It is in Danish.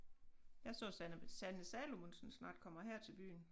Jeg så Sanne Sanne Salomonsen snart kommer her til byen